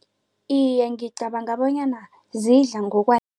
Iye, ngicabanga bonyana zidla